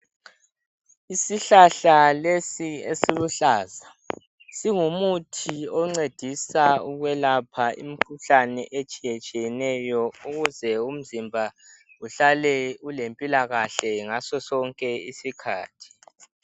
Isihlahla lesi esiluhlaza singumuthi oncedisa ukwelapha imikhuhlane etshiyetshiyeneyo ukuze umzimba uhlale ulempilakahle ngasosonke isikhathi.